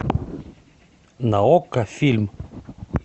на окко фильм